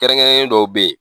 Kɛrɛnkɛrɛnnen dɔw be yen